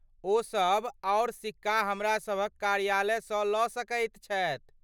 ओ सभ आओर सिक्का हमरासभक कार्यालयसँ लऽ सकैत छथि।